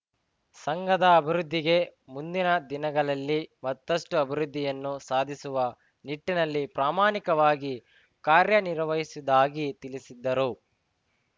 ಸಂಘದ ಅಭಿವೃದ್ಧಿಗೆ ಮುಂದಿನ ದಿನಗಳಲ್ಲಿ ಮತ್ತಷ್ಟುಅಭಿವೃದ್ಧಿಯನ್ನು ಸಾಧಿಸುವ ನಿಟ್ಟಿನಲ್ಲಿ ಪ್ರಾಮಾಣಿಕವಾಗಿ ಕಾರ್ಯನಿರ್ವಹಿಸುವುದಾಗಿ ತಿಳಿಸಿದ್ದರು